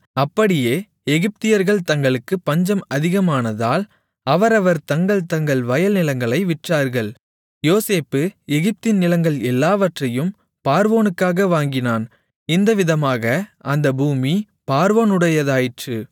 அப்படியே எகிப்தியர்கள் தங்களுக்குப் பஞ்சம் அதிகமானதால் அவரவர் தங்கள் தங்கள் வயல் நிலங்களை விற்றார்கள் யோசேப்பு எகிப்தின் நிலங்கள் எல்லாவற்றையும் பார்வோனுக்காக வாங்கினான் இந்த விதமாக அந்த பூமி பார்வோனுடையதாயிற்று